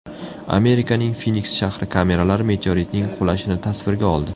Amerikaning Finiks shahri kameralari meteoritning qulashini tasvirga oldi.